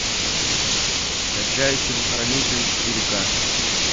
скачай телохранитель четыре ка